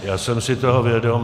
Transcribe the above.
Já jsem si toho vědom.